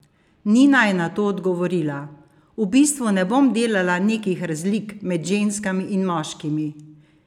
Nina je na to odgovorila: "V bistvu ne bom delala nekih razlik med ženskami ali moškimi.